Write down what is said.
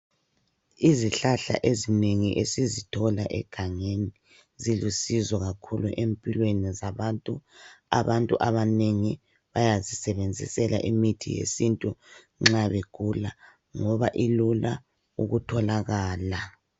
Izihlahla ezinengi esizithola egangeni zilusizo kakhulu empilweni zabantu. Abantu abanengi bayazisebenzisela imithi yesintu nxa begula ngoba ilula ukutholakala.